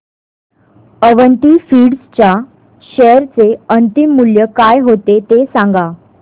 Avanti Feeds च्या share चे अंतिम मूल्य काय होते ते सांगा